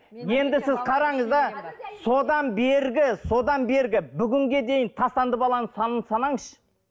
енді сіз қараңыз да содан бергі содан бергі бүгінге дейін тастанды баланың санын санаңызшы